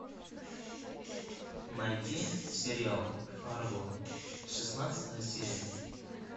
найти сериал фарго шестнадцатая серия